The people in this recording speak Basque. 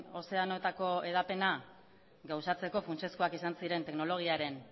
ozeanoetako hedapena gauzatzeko funtsezkoak izan ziren teknologiaren